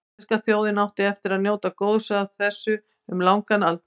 Íslenska þjóðin átti eftir að njóta góðs af þessu um langan aldur.